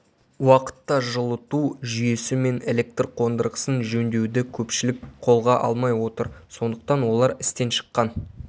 уақытта жылыту жүйесі мен электр қондырғысын жөндеуді көпшілік қолға алмай отыр сондықтан олар істен шыққан